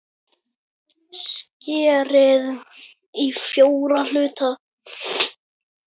Skerið í fjóra hluta.